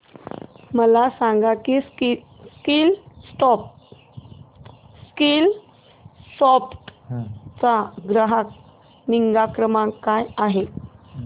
मला सांग की स्कीलसॉफ्ट चा ग्राहक निगा क्रमांक काय आहे